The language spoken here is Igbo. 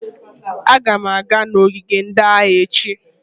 Aga m aga n'ogige ndị agha echi